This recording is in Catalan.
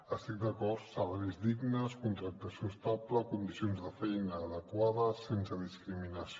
hi estic d’acord salaris dignes contractació estable condicions de feina adequades sense discriminació